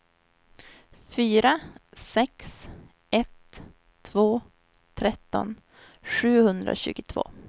fyra sex ett två tretton sjuhundratjugotvå